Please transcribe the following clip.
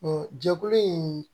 jɛkulu in